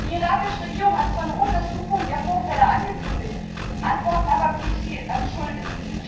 Die irakische Regierung hat zwar eine Untersuchung der Vorfälle angekündigt, Antworten aber blieb sie schuldig.